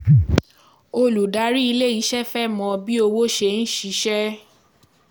Olùdarí ilé iṣẹ́ fẹ́ mọ bí owó ṣe ń ṣiṣẹ́.